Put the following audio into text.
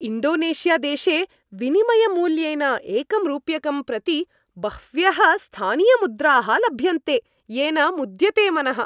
इण्डोनेशियादेशे विनिमयमूल्येन एकं रूप्यकं प्रति बह्व्यः स्थानीयमुद्राः लभ्यन्ते, येन मुद्यते मनः।